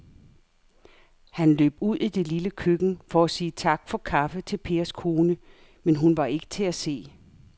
Han løb ud i det lille køkken for at sige tak for kaffe til Pers kone, men hun var ikke til at se.